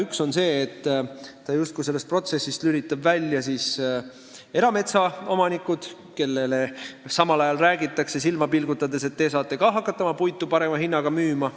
Üks on see, et ta justkui sellest protsessist lülitab välja erametsaomanikud, kellele samal ajal räägitakse silma pilgutades, et nemad saavad ka hakata oma puitu parema hinnaga müüma.